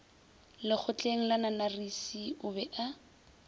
lekgotleng la nanarisi o be